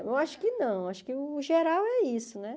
Eu acho que não, acho que o geral é isso, né?